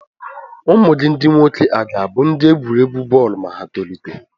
Ụmụ gị ndị nwoke à ga-abụ ndị egwuregwu bọọlụ ma ha tolite?